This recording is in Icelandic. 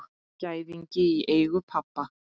Gæðingi í eigu pabba.